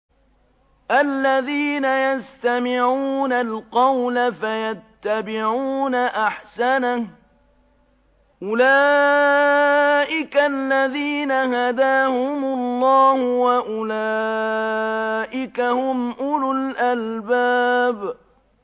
الَّذِينَ يَسْتَمِعُونَ الْقَوْلَ فَيَتَّبِعُونَ أَحْسَنَهُ ۚ أُولَٰئِكَ الَّذِينَ هَدَاهُمُ اللَّهُ ۖ وَأُولَٰئِكَ هُمْ أُولُو الْأَلْبَابِ